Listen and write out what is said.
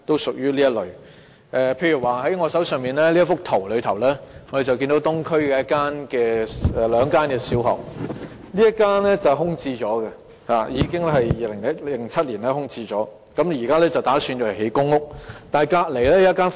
從我手中這幅圖可見，東區有這兩間小學，其中一間從2007年起已空置，現時當局打算用作興建公屋。